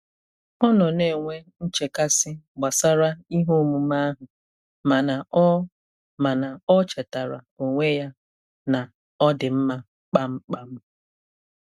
Ọ nọ na-enwe nchekasị gbasara ihe omume ahụ mana o mana o chetaara onwe ya na ọ dị mma kpamkpam.